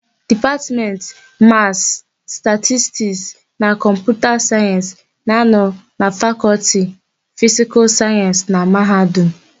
Dipatmentị Masị, Statistik na Kọmputa Sayensị na -anọ na Fakọlti Fisikal Sayensị na Mahadum.